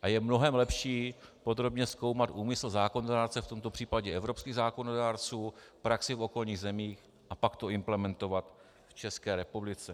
A je mnohem lepší podrobně zkoumat úmysl zákonodárce, v tomto případě evropských zákonodárců, praxi v okolních zemích, a pak to implementovat v České republice.